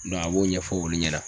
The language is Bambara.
Dɔ a b'o ɲɛfɔ olu ɲɛna